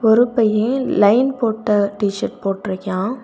ஒரு பைய லைன் போட்ட டீ சர்ட் போட்டு இருக்கான்.